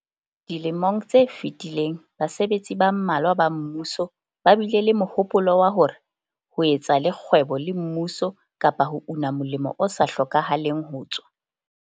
Dilemong tse fetileng basebetsi ba mmalwa ba mmuso ba bile le mohopolo wa hore ho etsa le kgwebo le mmuso kapa ho una molemo o sa hlokahaleng ho tswa.